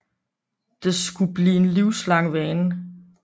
Det skulle blive en livslang vane